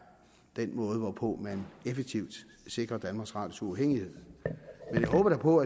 den måde hvorpå man effektivt sikrer danmarks radios uafhængighed men jeg håber da på